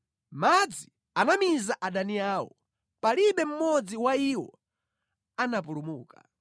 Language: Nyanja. Madzi anamiza adani awo, palibe mmodzi wa iwo anapulumuka.